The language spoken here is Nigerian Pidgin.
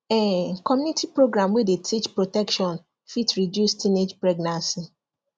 um community program wey dey teach protection fit reduce teenage pregnancy